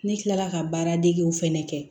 Ne kilala ka baara degew fɛnɛ kɛ